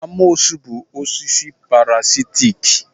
Amoosu bụ osisi parasitic